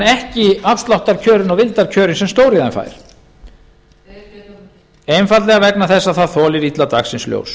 ekki afsláttarkjörin og vildarkjörin sem stóriðjan fær einfaldlega vegna þess að það þolir illa dagsins ljós